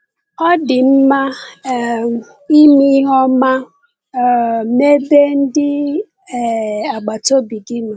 Ọ dị mma um ime ihe ọma um n’ebe ndị um agbata obi gị nọ.